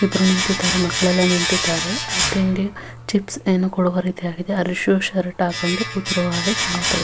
ಇಬ್ಬರು ನಿಂತಿದ್ದಾರೆ ಮಕ್ಕಳೆಲ್ಲ ನಿಂತಿದ್ದಾರೆ ತಿಂಡಿ ಚಿಪ್ಸ್ ಏನೋ ಕೊಡುವ ರೀತಿ ಇದೆ ಅರ ಷು ಶರ್ಟ್ ಹಾಕೊಂಡು ಕೂತಿರುವ ಹಾಗೆ ಕಾಣುತ್ತದೆ --